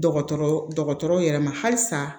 Dɔgɔtɔrɔ dɔgɔtɔrɔw yɛrɛ ma halisa